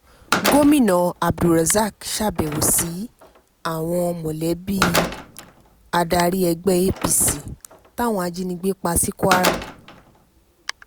gomina abdulrozak sábẹ́wò sí mọ̀lẹ́bí awon adarí ẹgbẹ́ apc táwọn ajinígbé pa ní kwara